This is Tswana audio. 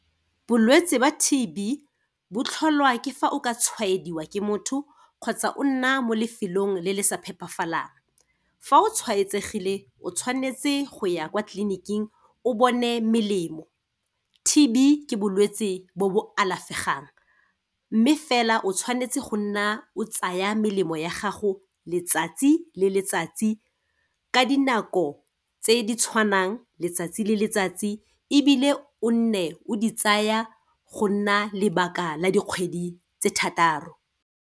Bolwetse ba T_B, bo tlholwa ke fa o ka tshwaediwa ke motho kgotsa o nna mo lefelong le le sa phephafalang. Fa o tshwaetsegile o tshwanetse go ya kwa tleliniking o bone melemo. T_B ke bolwetse bo bo alafegang, mme fela, o tshwanetse go nna o tsaya melemo ya gago letsatsi le letsatsi, ka dinako tse di tshwanang letsatsi le letsatsi, ebile o nne o di tsaya go nna lebaka la dikgwedi tse thataro.